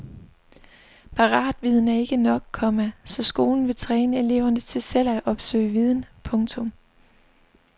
Paratviden er ikke nok, komma så skolen vil træne eleverne til selv at opsøge viden. punktum